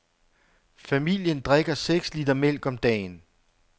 Familien drikker seks liter mælk om dagen.